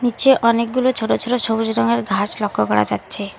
নীচে অনেকগুলো ছোট ছোট সবুজ রঙের ঘাস লক্ষ্য করা যাচ্ছে।